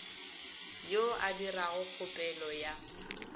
yo a dirago kgopelo ya